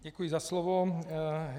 Děkuji za slovo.